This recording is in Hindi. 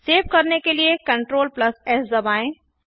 सेव करने के लिए Ctrl एस दबाएं